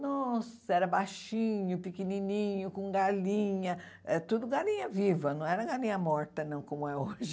Nossa, era baixinho, pequenininho, com galinha, eh tudo galinha viva, não era galinha morta, não, como é hoje.